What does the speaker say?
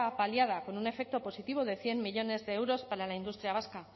paliada con un efecto positivo de cien millónes de euros para la industria vasca